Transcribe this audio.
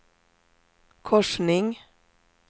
korsning